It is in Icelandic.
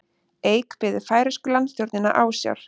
Eik biður færeysku landstjórnina ásjár